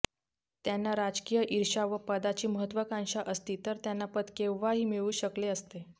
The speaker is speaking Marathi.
त्यांना राजकीय ईर्षा व पदाची महत्त्वाकांक्षा असती तर त्यांना पद केव्हाही मिळू शकले असते